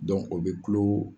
o bɛ kulo.